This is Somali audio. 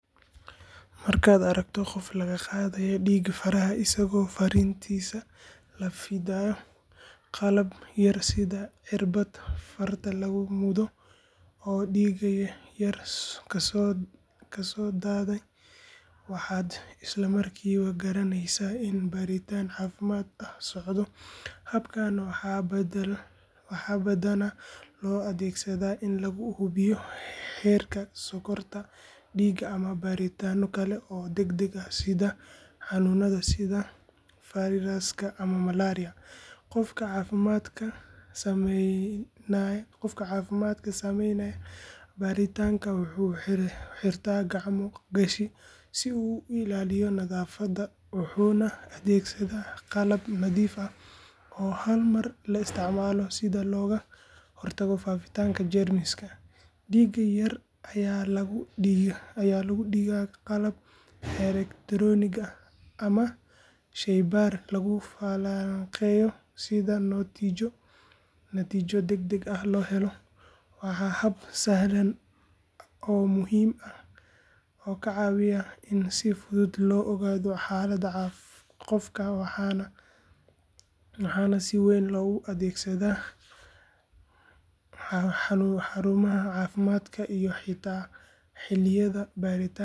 Markaad aragto qof laga qaaday dhiig faraha isagoo fariintiisa la fiiqayo qalab yar sida cirbad farta lagu mudo oo dhiig yar kasoo daaya, waxaad isla markiiba garanaysaa in baaritaan caafimaad ah socdo. Habkan waxaa badanaa loo adeegsadaa in lagu hubiyo heerka sonkorta dhiigga ama baaritaanno kale oo degdeg ah sida xanuunada sida fayraska ama malaria. Qofka caafimaadka sameynaya baaritaanka wuxuu xirtaa gacmo gashi si uu u ilaaliyo nadaafadda wuxuuna adeegsadaa qalab nadiif ah oo hal mar la isticmaalo si looga hortago faafitaanka jeermiska. Dhiigga yar ayaa lagu dhigaa qalab elektaroonig ah ama shaybaar lagu falanqeeyo si natiijo degdeg ah loo helo. Waa hab sahlan oo muhiim ah oo ka caawiya in si fudud loo ogaado xaaladda qofka, waxaana si weyn loogu adeegsadaa xarumaha caafimaadka iyo xitaa xilliyada baaritaan guud.